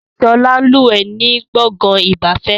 Sọlá ń lúwẹ̀ ni gbọ̀ngàn ìgbafẹ́